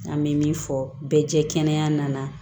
An bɛ min fɔ bɛɛ jɛ kɛnɛ nana